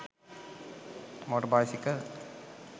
moter bicycle